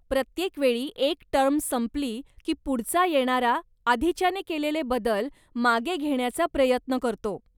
प्रत्येक वेळी एक टर्म संपली, की पुढचा येणारा आधीच्याने केलेले बदल मागे घेण्याचा प्रयत्न करतो.